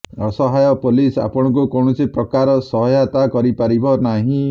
ଅସହାୟ ପୋଲିସ ଆପଣଙ୍କୁ କୌଣସି ପ୍ରକାର ସହାୟତା କରି ପାରିବ ନାହିଁ